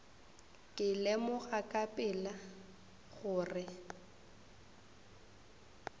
ka lemoga ka pela gore